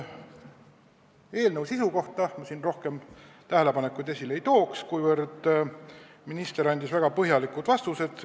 Eelnõu sisu kohta mul rohkem tähelepanekuid ei ole, kuna minister andis küsijaile väga põhjalikud vastused.